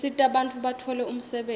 tisita bantfu batfole umsebenti